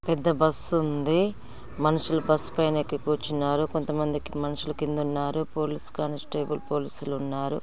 పెద్ద బస్ ఉ ఉంది. మనుషులు బస్ ఉ పైన ఎక్కి కూర్చున్నారు.కొంతమంది మనుషులు కింద ఉన్నారు. పోలీస్ కానిస్టేబుల్ పోలీస్ లు ఉన్నారు.